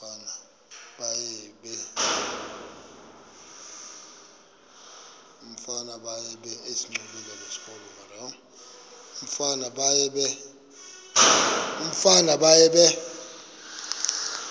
umfana baye bee